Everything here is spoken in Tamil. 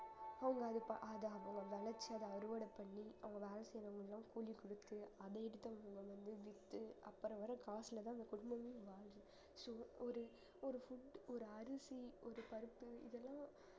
அவங்க அது ப~ அத அவங்க விளைச்சத அறுவடை பண்ணி அவங்க வேலை செய்யறவங்களுக்கு எல்லாம் கூலி கொடுத்து அது எடுத்து அவங்க வந்து வித்து அப்புறம் வர காசுலதான் அந்த குடும்பமே வாழுது so ஒரு ஒரு food ஒரு அரிசி ஒரு பருப்பு இதெல்லாம்